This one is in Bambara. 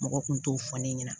Mɔgɔ kun t'o fɔ ne ɲɛna